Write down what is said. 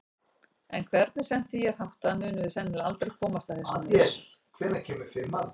En hvernig sem því er háttað munum við sennilega aldrei komast að þessu með vissu.